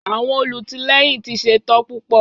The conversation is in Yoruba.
Àwọn olùtìlẹ́yìn ti ṣetán púpọ̀.